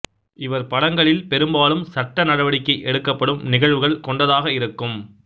இவர் படங்களில் பெரும்பாலும் சட்ட நடவடிக்கை எடுக்கப்படும் நிகழ்வுகள் கொண்டதாக இருக்கும்